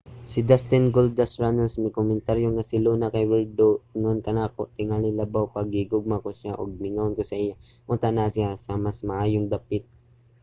si dustin goldust runnels mikomentaryo nga si luna kay werdo ingon kanako...tingali labaw pa...gihigugma ko siya ug mingawon ko sa iya...unta naa siya sa mas maayong dapit.